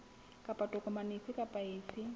kapa tokomane efe kapa efe